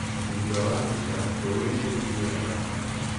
Thutha wa mbura, rũũĩ nĩ rũiyũraga maĩ.